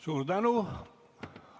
Suur tänu!